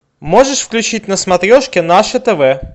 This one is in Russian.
можешь включить на смотрешке наше тв